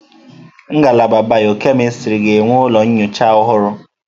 Ngalaba bịọ-kemịstrị ga-enwe ụlọ nyocha ọhụrụ.